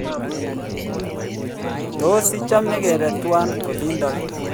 tos ichame kebe tuwai olindok